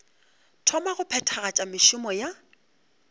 thoma go phethagatša mešomo ya